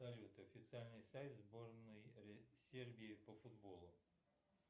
салют официальный сайт сборной сербии по футболу